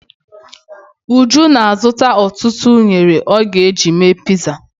Uju na-azụta ọtụtụ unere ọ ga-eji mee piza.